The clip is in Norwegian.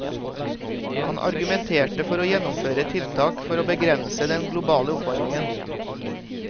Han argumenterte for å gjennomføre tiltak for å begrense den globale oppvarmingen.